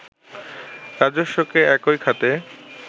রাজস্বকে একই খাতে